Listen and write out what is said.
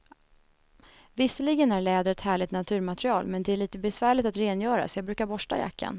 Visserligen är läder ett härligt naturmaterial, men det är lite besvärligt att rengöra, så jag brukar borsta jackan.